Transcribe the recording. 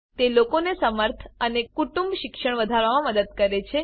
તે લોકોને સમર્થ અને કુટુંબ શિક્ષણ વધારવામા મદદ કરે છે